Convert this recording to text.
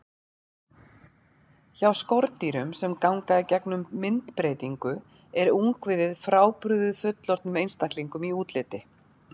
Hjá skordýrum sem ganga í gegnum myndbreytingu er ungviðið frábrugðið fullorðnum einstaklingum í útliti.